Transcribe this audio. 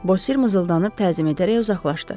Bozer mızıldanıb təzim edərək uzaqlaşdı.